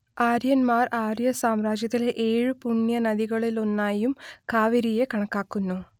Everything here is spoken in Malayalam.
ആര്യന്മാർ ആര്യസാമ്രാജ്യത്തിലെ ഏഴു പുണ്യ നദികളിലൊന്നായും കാവേരിയെ കണക്കാക്കുന്നു